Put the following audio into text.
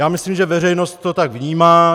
Já myslím, že veřejnost to tak vnímá.